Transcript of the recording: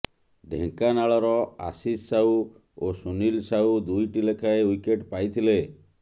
ଢେଙ୍କାନାଳର ଆଶିଷ ସାହୁ ଓ ସୁନୀଲ ସାହୁ ଦୁଇଟି ଲେଖାଏଁ ଓ୍ବିକେଟ ପାଇଥିଲେ